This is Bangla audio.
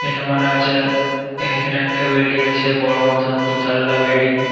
এটা মনে হচ্ছে এখানে একটা বিল্ডিং আছে বড় মতন দু তলা বিল্ডিং ।